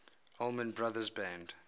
allman brothers band